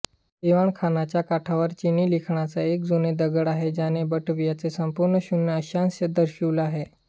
दिवाणखान्याच्या काठावर चिनी लिखाणाचा एक जुने दगड आहे ज्याने बाटवियाचे संपूर्ण शून्य अक्षांश दर्शविले आहे